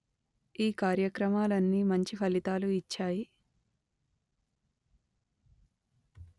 ఈ కార్యక్రమాలన్నీ మంచి ఫలితాలు ఇచ్చాయి